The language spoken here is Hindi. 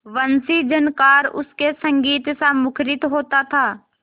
वंशीझनकार उनके संगीतसा मुखरित होता था